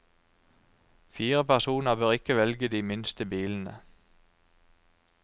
Fire personer bør ikke velge de minste bilene.